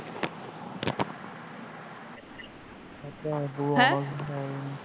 ਹੈਂ